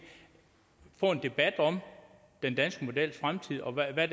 få en debat om den danske models fremtid og hvad